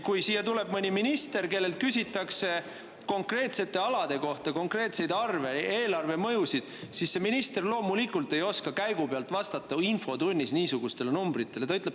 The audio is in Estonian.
Kui siin mõnelt ministrilt küsitakse konkreetsete alade kohta konkreetseid arve, eelarvemõjusid, siis ta loomulikult ei oska käigu pealt infotunnis niisuguste numbritega vastata.